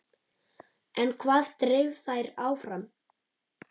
En hvað dreif þær áfram?